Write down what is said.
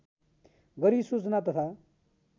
गरी सूचना तथा